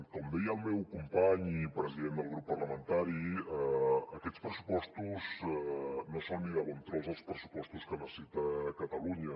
com deia el meu company i president del grup parlamentari aquests pressupostos no són ni de bon tros els pressupostos que necessita catalunya